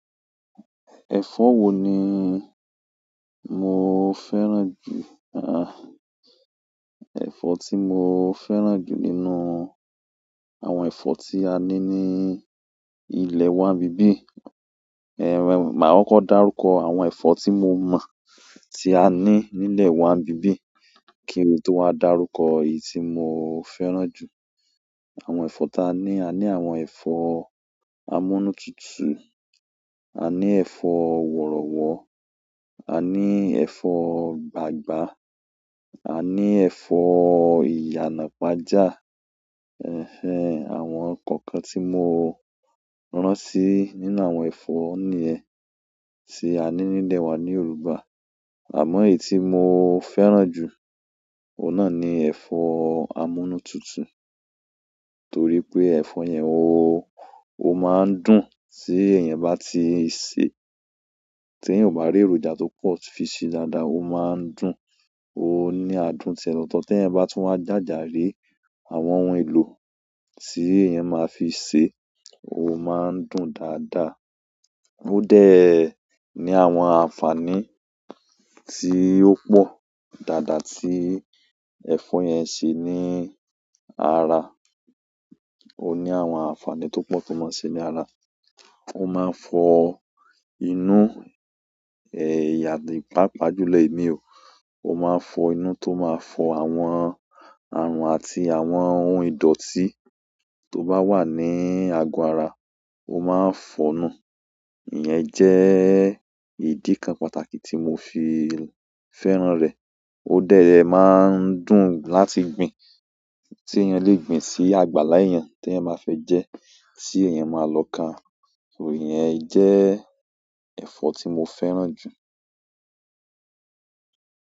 Ẹ̀fọ́ wo ni mo fẹ́ràn jù? Ah, ẹ̀fọ́ tí mo fẹ́ràn jù nínú àwọn ẹ̀fọ́ tí a ní ní ilẹ̀ wa n bibi, màá kọ dárúkọ àwọn ẹ̀fọ́ tí mo mọ́ tí a ní nílẹ̀ wa n bibi kí n tó wa darúkọ èyí tí mo fẹ́ràn jù. Àwọn ẹ̀fọ́ tí a ní, a ní àwọn ẹ̀fọ́ amúnútutù, à ní ẹ̀fọ́ wọ̀rọ̀wọ̀, à ní ẹ̀fọ́ gbagba, à ní ẹ̀fọ́ ìyànàpájà, àwọn kankan tí mo rántí nínú àwọn ẹ̀fọ́ ni ẹ ti a ní nílẹ̀ wa ní Yorùbá. Àmọ́ èyí tí mo fẹ́ràn jù, òun náà ni ẹ̀fọ́ amúnútutù torí pé ẹ̀fọ́ yẹn ó, ó máa ń dùn tí èèyàn bá ti sè é tí eeyan bá rí èròjà tó pọ̀ fi sé dáadáa, ó máa ń dùn. Ó ní adùn tiẹ́ lọ̀tọ̀ tí ẹ̀yin bá tún wá jájà rí àwọn ohun èlò tí èèyàn máa fi sè é, ó máa ń dùn dáadáa. O de ni àwọn àǹfààní ti o po daada ti ẹ̀fọ́ yen n se ni ara. Ó ní àwọn àǹfààní tó pọ̀ tó máa ṣe ní ara. Ó máa fọ inú, páapa júlo emi o. O ma n fo inú to ma fo àwọn aarun àti àwọn ohun ìdòtí to ba wa ni ago ara, o maa n fo nu. Ìyẹn jẹ́ ìdí kan pàtàkì tí mo fi fẹ́ràn rẹ̀. Ó dẹ̀ rẹ máa ń dùn láti gbin. Tí èèyàn le gbin sí àgbàlá èèyàn tí èèyàn máa fẹ́ jẹ́ tí èèyàn máa lọ ká. Iyẹn jẹ́ ẹ̀fọ́ tí mo fẹ́ràn jù.